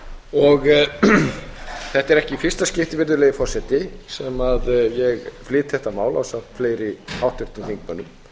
forseti þetta er ekki í fyrsta skipti sem ég flyt þetta mál ásamt fleiri háttvirtum þingmönnum